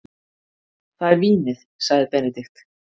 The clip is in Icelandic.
Það er vínið, sagði Benedikt.